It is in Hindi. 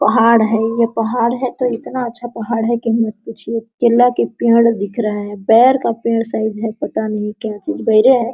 ये पहाड़ है ये पहाड़ है तो इतना अच्छा पहाड़ है की मत पूछिए केला का पेड़ दिख रहा है बेर का पेड़ शायद है बेरे है।